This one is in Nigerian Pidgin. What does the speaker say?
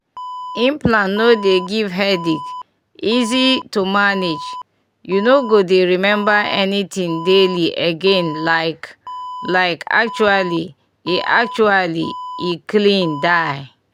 implant no dey give headache easy to manage you no go dey remember anything daily again like like actually e actually e clean die.